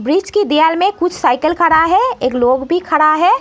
बीच की दीवाल में कुछ साइकिल खड़ा हैं। एक लोग भी खड़ा है।